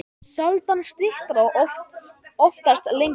Sjaldan styttra og oftast lengra.